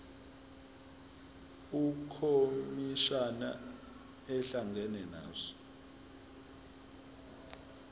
ukhomishana ehlangana nazo